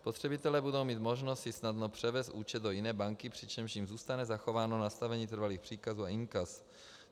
Spotřebitelé budou mít možnost si snadno převést účet do jiné banky, přičemž jim zůstane zachováno nastavení trvalých příkazů a inkas.